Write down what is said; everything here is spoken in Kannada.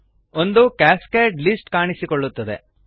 ಒಂದು ಕ್ಯಾಸ್ಕೇಡ್ ಲಿಸ್ಟ್ ಕಾಣಿಸಿಕೊಳ್ಳುತ್ತದೆ